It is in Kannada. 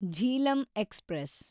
ಝೀಲಂ ಎಕ್ಸ್‌ಪ್ರೆಸ್